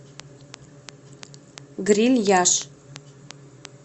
грильяж